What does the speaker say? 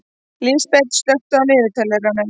Lísabet, slökktu á niðurteljaranum.